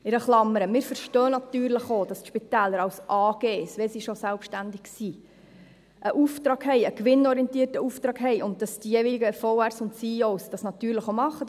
In einer Klammer: Wir verstehen natürlich auch, dass die Spitäler als AG – wenn sie schon selbstständig sind – einen Auftrag haben, einen gewinnorientierten Auftrag haben, und dass die jeweiligen Verwaltungsräte und CEO dies natürlich auch machen.